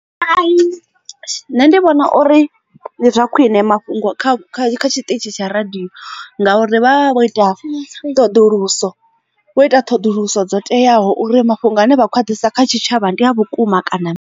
Nṋe ndi vhona uri ndi zwa khwine mafhungo kha tshiṱitshi tsha radio ngauri vha vho ita ṱhoḓuluso vho ita ṱhoḓuluso dzo teaho uri mafhungo ane vha khou a ḓisa kha tshitshavha ndi a vhukuma kana.